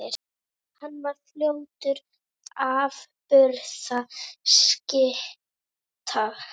Hann varð fljótt afburða skytta.